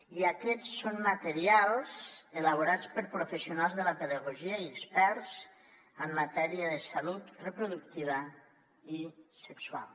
i aquests són materials elaborats per professionals de la pedagogia i experts en matèria de salut reproductiva i sexual